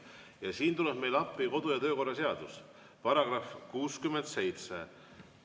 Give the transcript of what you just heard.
Ja siin tuleb meile appi kodu- ja töökorra seaduse § 67.